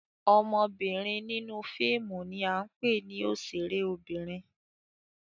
Obinrin ninu fiimu ni a ńpe ni oṣere obinrin.